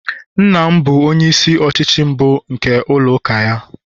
nna m bụ onye isi ọchịchị mbụ nke ụlọ uka ya